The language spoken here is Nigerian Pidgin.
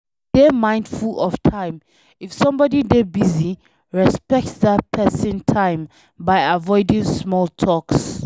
Dey mindful of time, if somebody dey busy, respect dat person time by avoiding small talks